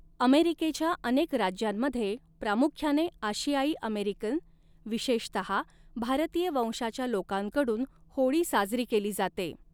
अमेरिकेच्या अनेक राज्यांमध्ये प्रामुख्याने आशियाई अमेरिकन, विशेषतहा भारतीय वंशाच्या लोकांकडून होळी साजरी केली जाते.